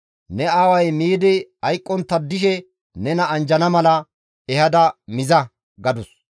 Ne aaway miidi hayqqontta dishe miidi nena anjjana mala ehada miza» gadus.